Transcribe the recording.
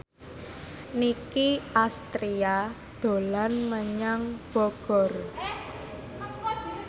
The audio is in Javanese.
Nicky Astria dolan menyang Bogor